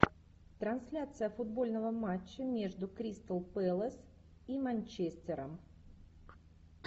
трансляция футбольного матча между кристал пэлас и манчестером